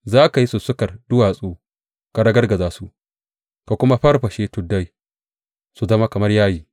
Za ka yi sussukar duwatsu ka ragargaza su, ka kuma farfashe tuddai su zama kamar yayi.